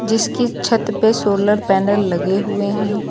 इसकी छत पे सोलर पैनल लगे हुए हैं।